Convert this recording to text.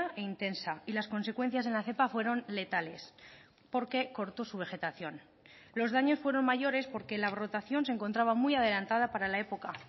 e intensa y las consecuencias en la cepa fueron letales porque cortó su vegetación los daños fueron mayores porque la brotación se encontraba muy adelantada para la época